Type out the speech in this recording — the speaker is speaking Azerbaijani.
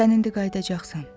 Sən indi qayıdacqsan.